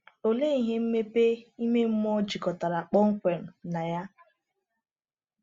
Olee ihe mmepe ime mmụọ jikọtara kpọmkwem na ya?